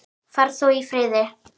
Far þú í friði.